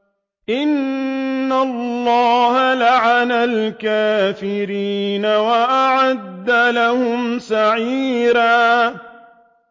إِنَّ اللَّهَ لَعَنَ الْكَافِرِينَ وَأَعَدَّ لَهُمْ سَعِيرًا